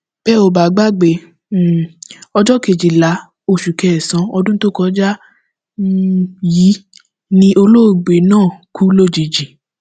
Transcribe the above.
bẹ ò bá gbàgbé um ọjọ kejìlá oṣù kẹsànán ọdún tó kọjá um yìí ni olóògbé náà kú lójijì